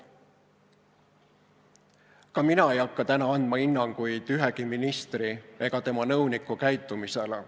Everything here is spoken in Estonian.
Ka mina ei hakka täna andma hinnanguid ühegi ministri ega tema nõuniku käitumisele.